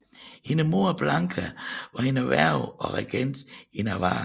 Hendes mor Blanka var hendes værge og regent i Navarra